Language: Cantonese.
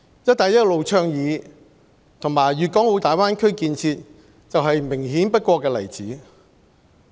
"一帶一路"倡議和粵港澳大灣區建設就是明顯不過的例子。